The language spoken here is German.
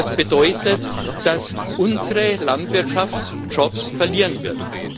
Das bedeutet, dass unsere Landwirtschaft Jobs verlieren wird.